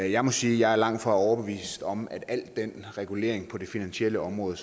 jeg må sige at jeg langt fra er overbevist om at al den regulering på det finansielle område